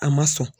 A ma sɔn